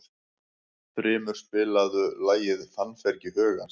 Þrymur, spilaðu lagið „Fannfergi hugans“.